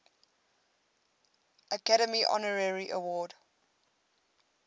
academy honorary award